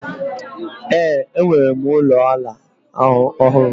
Ee, enwere m ụlọ ala ọhụrụ